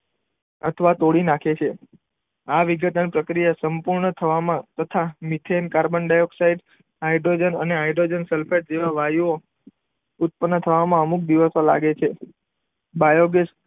અથવા તોડી નાખે છે. આ વિઘટન પ્રક્રિયા સંપૂર્ણ થવામાં તથા મિથેન, કાર્બન ડાયોક્સાઇડ, હાઇડ્રોજન અને હાઇડ્રોજન સલ્ફેટ જેવા વાયુઓ ઉત્પન્ન થવામાં અમુક દિવસો લાગે છે. બાયોગેસ,